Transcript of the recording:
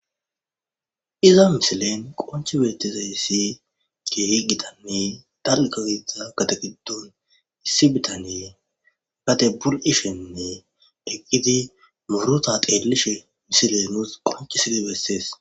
Iza misilen qonchi beetizayssi kee gitane darkazida gatagiddon issi bitanee gate bur'ishenne eqqiti muurota qeelishe misilenos qonchi sile bessees.